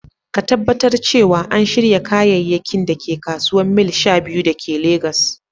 Ka Tabbatar cewa an shirya kayayyakin da ke kasuwar Mile 12 da ke Legas